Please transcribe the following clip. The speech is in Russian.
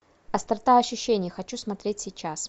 острота ощущений хочу смотреть сейчас